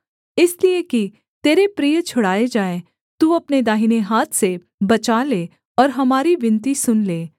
इसलिए कि तेरे प्रिय छुड़ाए जाएँ तू अपने दाहिने हाथ से बचा ले और हमारी विनती सुन ले